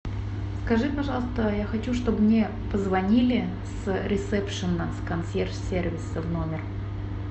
скажи пожалуйста я хочу чтобы мне позвонили с ресепшена с консьерж сервиса в номер